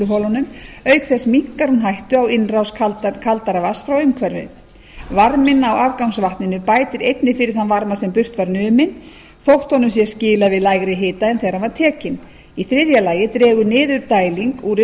vinnsluholum auk þess minnkar hún hættu á innrás kaldara vatns frá umhverfi varminn í afgangsvatninu bætir einnig fyrir þann varma sem burt var numinn þótt honum sé skilað við lægri hita en þegar hann var tekinn í þriðja lagi dregur niðurdæling úr